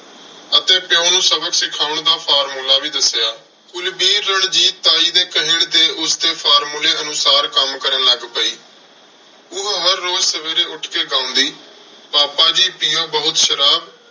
ਅਤੇ ਪਿਉ ਨੂੰ ਸਬਕ ਸਿਖਾਉਣ ਦਾ formula ਵੀ ਦੱਸਿਆ। ਕੁਲਵੀਰ ਰਣਜੀਤ ਤਾਈ ਦੇ ਕਹਿਣ ਤੇ ਉਸਦੇ formula ਅਨੁਸਾਰ ਕੰਮ ਕਰਨ ਲੱਗ ਪਈ। ਉਹ ਹਰ ਰੋਜ਼ ਸਵੇਰੇ ਉੱਠ ਕੇ ਗਾਉਂਦੀ, ਪਾਪਾ ਜੀ ਪੀਉ ਬਹੁਤ ਸ਼ਰਾਬ,